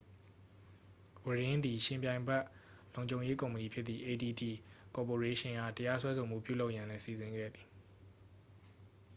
ဝရင်း သည် ယှဉ်ပြိုင်ဘက် လုံခြုံရေးကုမ္ပဏီဖြစ်သည့် adt ကော်ပိုရေးရှင်းအား တရားစွဲဆိုမှု ပြုလုပ်ရန်လည်း စီစဉ်ခဲ့သည်